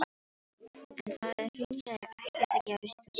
En það er hreinlega ekkert að gerast í þessum bæ.